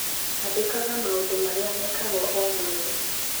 andĩkaga maũndũ marĩa mekagwo o mweri